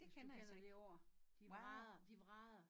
Hvis du kender det ord de vrader de vrader